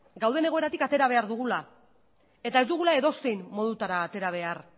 gauden egoeratik atera behar dugula eta ez dugula edozein modutara atera behar